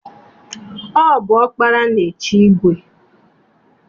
Ọ bụ ọkpara na-echi igwe.